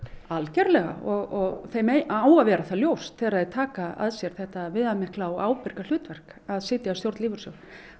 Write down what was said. algjörlega og þeim á að vera það ljóst þegar þeir taka að sér þetta viðamikla og ábyrga hlutverk að sitja í stjórn lífeyrissjóða